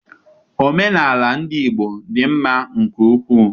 Omenaala ndị Igbo dị mma nke ukwu.